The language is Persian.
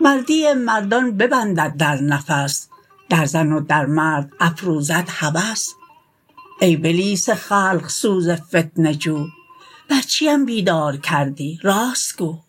مردی مردان ببندد در نفس در زن و در مرد افروزد هوس ای بلیس خلق سوز فتنه جو بر چیم بیدار کردی راست گو